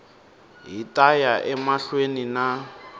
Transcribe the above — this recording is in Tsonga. hi ta ya emahlweni na